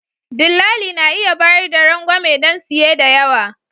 Dillali na iya bayar da rangwame don siye da yawa.